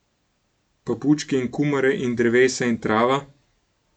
Pa bučke in kumare in drevesa in trava?